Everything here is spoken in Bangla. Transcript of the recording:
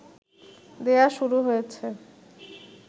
দেয়া শুরু হয়েছে